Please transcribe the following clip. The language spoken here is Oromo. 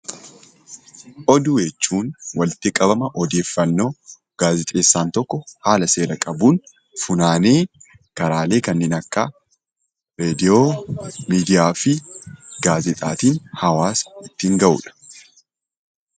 Oduu jechuun walitti qabama odeeffannoo gaazixeessaan tokko haala seera qabuun funaanee karaalee kanneen akka reediyoo, miidiyaa fi gaazexaatiin hawaasa ittiin ga'uu dha.